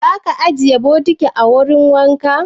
Za ki ajiye bokitin a wurin wanka?